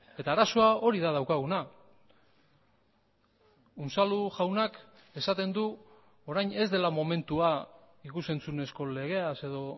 eta arazoa hori da daukaguna unzalu jaunak esaten du orain ez dela momentua ikus entzunezko legeaz edo